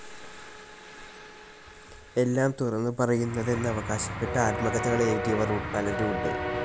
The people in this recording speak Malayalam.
എല്ലാം തുറന്നു പറയുന്നതെന്നവകാശപ്പെട്ട് ആത്മകഥകൾ എഴുതിയവർ പലരുണ്ട്.